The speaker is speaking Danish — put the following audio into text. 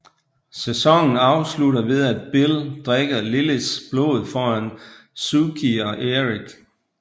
Sæsonen afslutter ved at Bill drikker Liliths blod foran Sookie og Eric